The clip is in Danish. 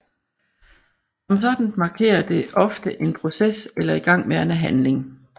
Som sådant markerer det ofte en proces eller igangværende handling